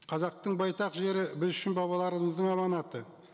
қазақтың байтақ жері біз үшін бабаларымыздың аманаты